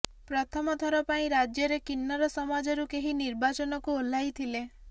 ପ୍ରଥମ ଥର ପାଇଁ ରାଜ୍ୟରେ କିନ୍ନର ସମାଜରୁ କେହି ନିର୍ବାଚନକୁ ଓହ୍ଲାଇଥିଲେ